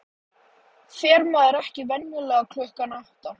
Fer maður ekki venjulega klukkan átta?